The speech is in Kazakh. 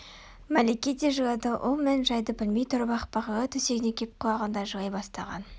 мәлике де жылады ол мән-жайды білмей тұрып-ақ бағила төсегіне кеп құлағанда жылай бастаған